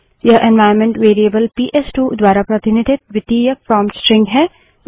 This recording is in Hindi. यह एन्वाइरन्मेंट वेरिएबल पीएसटू द्वारा प्रतिनिधित द्वितीयक प्रोंप्ट स्ट्रिंग है